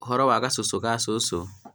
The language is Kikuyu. ũhoro wa gacũcũ ka cũcũ